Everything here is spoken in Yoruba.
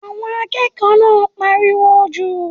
Àwọn akẹ́kọ̀ọ́ náà ń pariwo jù.